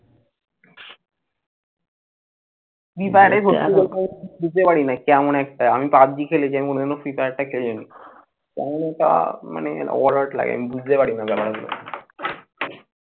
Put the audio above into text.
free fire আমি বুঝতে পারি নাই কেমন একটা। আমি পাবজি খেলেছি মনে হইল free fire টা খেলে নেই। মানে কেমন একটা ODD লাগে আমি বুঝতে পারি না ব্যাপারগুলো।